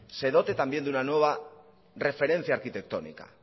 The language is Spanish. se dote también de una nueva referencia arquitectónica